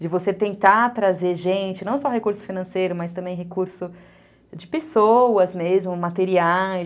De você tentar trazer gente, não só recurso financeiro, mas também recurso de pessoas mesmo, materiais.